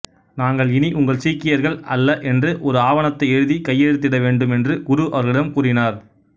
நாங்கள் இனி உங்கள் சீக்கியர்கள் அல்ல என்று ஒரு ஆவணத்தை எழுதி கையெழுத்திட வேண்டும் என்று குரு அவர்களிடம் கூறினார்